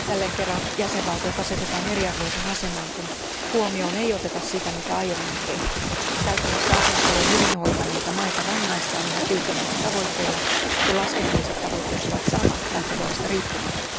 Jälleen kerran jäsenvaltiot asetetaan eriarvoiseen asemaan, kun huomioon ei oteta sitä, mitä aiemmin on tehty. Käytännössä asiansa jo hyvin hoitaneita maita rangaistaan yhä tiukemmilla tavoitteilla, kun laskennalliset tavoitteet ovat samat lähtökohdista riippumatta.